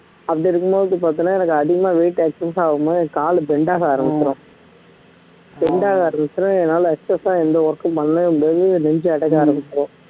அப்படி இருக்கும் போது பார்த்தன்னா எனக்கு அதிகமா weight excess ஆகும்போது எனக்கு காலு bend ஆக ஆரம்பிரும் bend ஆக இருந்துச்சுன்னா என்னால excess ஆ எந்த work உம் பண்ணவே முடியாது நெஞ்சு அடைக்க ஆரம்பிச்சிடும்